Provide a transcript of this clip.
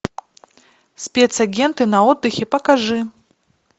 спец агенты на отдыхе покажи